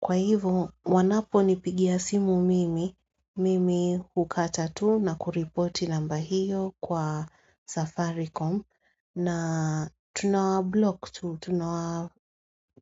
Kwa hivyo wanapo ni pigia simu mimi, mimi hukata tu na kuripoti namba hiyo kwa Safaricom na tunawa block tu,